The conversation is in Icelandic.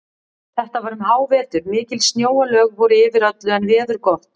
Þetta var um hávetur, mikil snjóalög voru yfir öllu en veður gott.